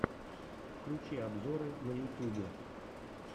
включи обзоры на ютьюбе